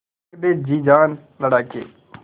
रख दे जी जान लड़ा के